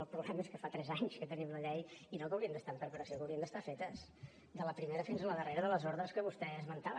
el problema és que fa tres anys que tenim la llei i no haurien d’estar en preparació haurien d’estar fetes de la primera fins a la darrera de les ordres que vostè esmentava